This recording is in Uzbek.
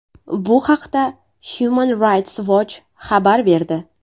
Bu haqda Human Rights Watch xabar berdi.